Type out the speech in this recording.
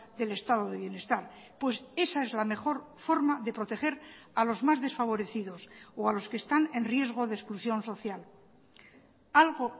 del estado de bienestar pues esa es la mejor forma de proteger a los más desfavorecidos o a los que están en riesgo de exclusión social algo